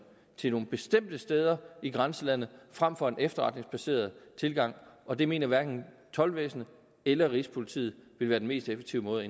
til nogle bestemte steder i grænselandet frem for en efterretningsbaseret tilgang og det mener hverken toldvæsenet eller rigspolitiet vil være den mest effektive måde